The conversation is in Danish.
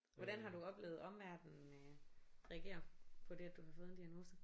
Hvordan har du oplevet omverden øh reagere på dét at du har fået et diagnose?